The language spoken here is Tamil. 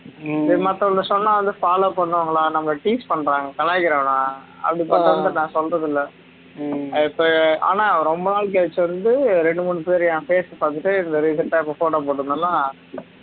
இப்ப மத்தவங்க சொன்னா வந்து follow பண்ணுவாங்களா நம்மள tease பண்றாங்க கலாய்க்கிறாங்கடா அதுக்காதான் நான் சொல்றதில்ல அது இப்ப ஆனா ரொம்ப நாள் கழிச்சு வந்து ரெண்டு மூனு பேர் என் facebook வந்துட்டு இப்ப recent ஆ இப்ப photo போட்டிருந்தேன்ல